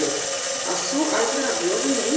að þú ætlir að bjóða mér inn?